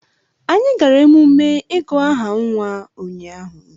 Anyị gara emume ịgụ aha nwa ụnyahụ